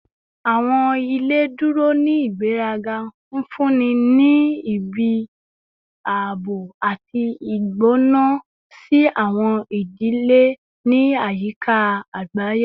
Awọn ile duro ni igberaga, nfunni ni ibi aabo ati igbona si awọn idile ni ayika agbaye